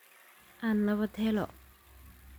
Aan nabad helo.